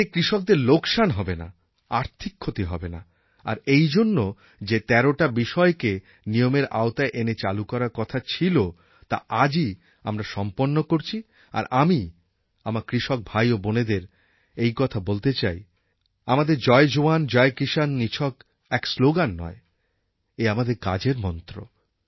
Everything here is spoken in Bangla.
এতে কৃষকদের লোকসান হবে না আর্থিক ক্ষতি হবে না আর এইজন্য যে তেরটা বিষয়কে নিয়মের আওতায় এনে চালু করার কথা ছিল তা আজই আমরা সম্পন্ন করছি আর আমি আমার কৃষক ভাই ও বোনেদের এই কথা বলতে চাই যে আমাদের জয় জওয়ান জয় কিষাণ নিছক এক শ্লোগান নয় এ আমাদের কাজের মন্ত্র